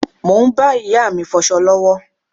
Mo ń bá ìyá mi fọsọ lọ́wọ́.